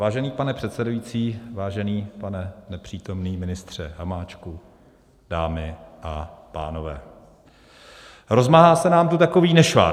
Vážený pane předsedající, vážený pane nepřítomný ministře Hamáčku, dámy a pánové, rozmáhá se nám tu takový nešvar.